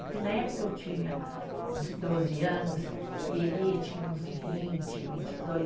Porque na época eu tinha uns doze anos e ele tinha uns vinte, vinte e dois.